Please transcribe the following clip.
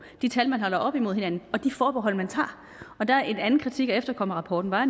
de tal man holder op imod hinanden og de forbehold man tager en anden kritik af efterkommerrapporten var